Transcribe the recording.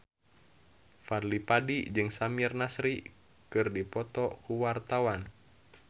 Fadly Padi jeung Samir Nasri keur dipoto ku wartawan